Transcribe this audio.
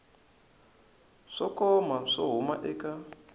swo koma swo huma eka